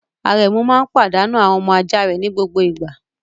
Arẹ́mu máa ń padànu àwọn ọmọ ajá rẹ ní gbogbo ìgbà.